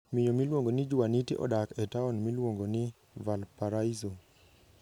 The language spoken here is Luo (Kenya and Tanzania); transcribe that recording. Miyo miluongo ni Juaniti odak e taon miluongo ni Valparaíso.